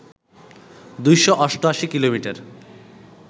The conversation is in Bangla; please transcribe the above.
২৮৮ কিলোমিটার